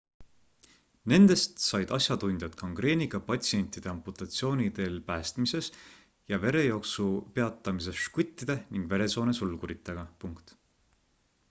nendest said asjatundjad gangreeniga patsientide amputatsiooni teel päästmises ja verejooksu peatamises žguttide ning veresoone sulguritega